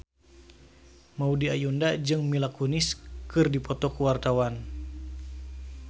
Maudy Ayunda jeung Mila Kunis keur dipoto ku wartawan